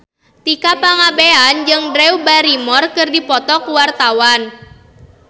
Tika Pangabean jeung Drew Barrymore keur dipoto ku wartawan